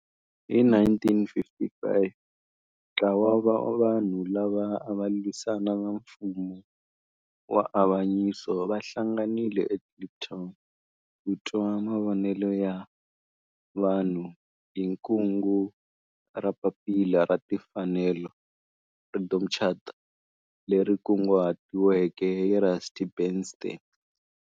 Hi 1955 ntlawa wa vanhu lava ava lwisana na nfumo wa avanyiso va hlanganile eKliptown ku twa mavonelo ya vanhu hi kungu ra Papila ra Timfanelo, Freedom Charter, leri kunguhatiweke hi Rusty Bernstein.